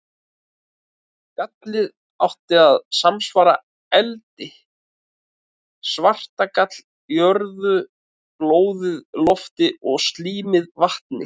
Gallið átti að samsvara eldi, svartagall jörðu, blóðið lofti og slímið vatni.